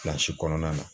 kɔnɔna na